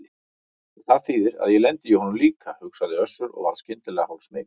Og það þýðir að ég lendi í honum líka, hugsaði Össur og varð skyndilega hálfsmeykur.